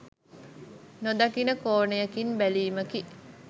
නොදකින කෝණයකින් බැලීමකි.